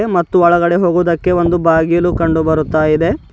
ಮುತ್ತು ಒಳಗಡೆ ಹೋಗುವುದಕ್ಕೆ ಒಂದು ಬಾಗಿಲು ಕಂಡು ಬರ್ತಾ ಇದೆ.